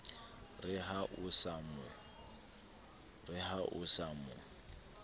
re ha o sa mo